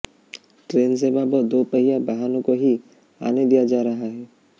train सेवा व दोपहिया वाहनों को ही आने दिया जा रहा है